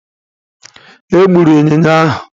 Egburu ịnyịnya ahụ.